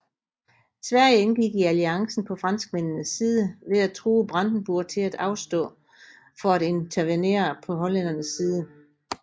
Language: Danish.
Sverige indgik i alliancen på franskmændenes side ved at true Brandenburg til at afstå for at intervenerer på hollændernes side